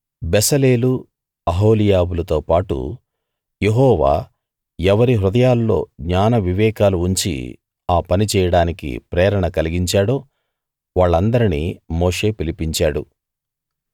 బెసలేలు అహోలీయాబులతో పాటు యెహోవా ఎవరి హృదయాల్లో జ్ఞాన వివేకాలు ఉంచి ఆ పని చేయడానికి ప్రేరేపణ కలిగించాడో వాళ్ళందరినీ మోషే పిలిపించాడు